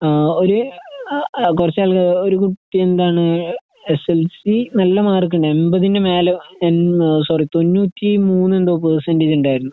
ആഹ്ഒരു അഅ കുറച്ചാൾക്ക് ഒരുകുട്ടിയെന്താണ് എസ്എൽസിനല്ലമാർക്കുണ്ട്. എമ്പതിനുമേലെ എൺന്നസോറി തൊണ്ണൂറ്റി മൂന്നെന്തോപേഴ്‌സന്റെജുണ്ടായിരുന്നു